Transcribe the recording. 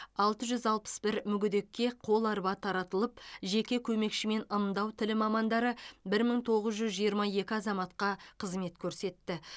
алты жүз алпыс бір мүгедекке қол арба таратылып жеке көмекші мен ымдау тілі мамандары бір мың тоғыз жүз жиырма екі азаматқа қызмет көрсетті